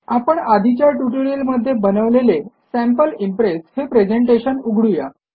आपण आधीच्या ट्युटोरियलमध्ये बनवलेले सॅम्पल इम्प्रेस हे प्रेझेंटेशन उघडू या